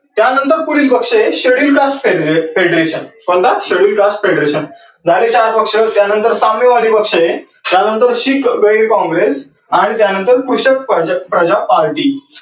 त्या नंतर पुढील पक्ष आहे schedule cast feature कोणता schedule cast feature हा पक्ष त्या नंतर पक्ष आहे